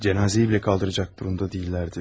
Cənazəni belə qaldıracaq vəziyyətdə deyildilər.